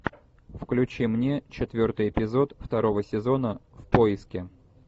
включи мне четвертый эпизод второго сезона в поиске